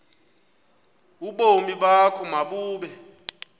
ubomi bakho mabube